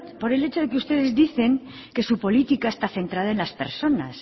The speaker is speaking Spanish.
por el hecho de que ustedes dicen que su política está centrada en las personas